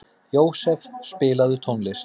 Jósef, spilaðu tónlist.